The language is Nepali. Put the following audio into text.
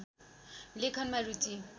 लेखनमा रुचि